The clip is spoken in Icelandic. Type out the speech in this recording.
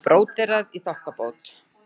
Og bróderað í þokkabót.